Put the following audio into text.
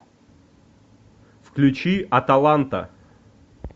включи аталанта